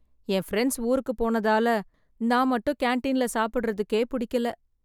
என் friends ஊருக்கு போனதால நான் மட்டும் கேன்டீன்ல சாப்பிடறதுக்கே பிடிக்கல.